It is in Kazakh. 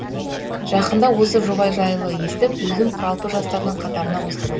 жақында осы жоба жайлы естіп өзім құралпы жастардың қатарына қосылдым